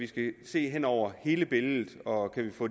skal vi se hen over hele billedet og kan vi få